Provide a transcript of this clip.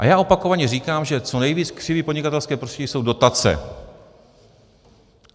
A já opakovaně říkám, že co nejvíc křiví podnikatelské prostředí jsou dotace.